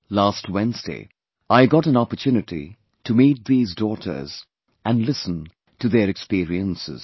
Last Wednesday, I got an opportunity to meet these daughters and listen to their experiences